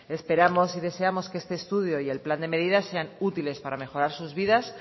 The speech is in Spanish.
esperamos y deseamos que este estudio y el plan de medidas sean útiles para mejorar sus vidas